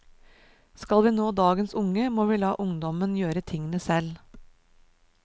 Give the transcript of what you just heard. Skal vi nå dagens unge, må vi la ungdommen gjøre tingene selv.